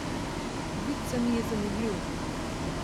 Vid se mi je zameglil.